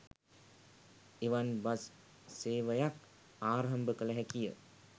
එවන් බස් සේවයක් ආරම්භ කළ හැකිය